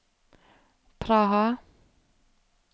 Praha